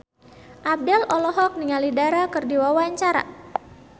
Abdel olohok ningali Dara keur diwawancara